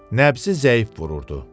Nəbzi zəif vururdu.